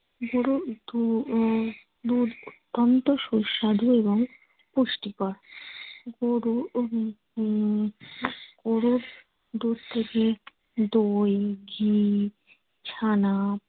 দুধ অত্যন্ত সুস্বাদু এবং পুষ্টিকর। গরু গরুর দুধ থেকে দই ঘি ছানা